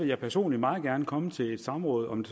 jeg personligt meget gerne komme til et samråd om